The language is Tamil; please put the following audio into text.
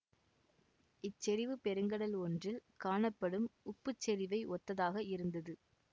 இச்செறிவு பெருங்கடல் ஒன்றில் காணப்படும் உப்புச் செறிவை ஒத்ததாக இருந்தது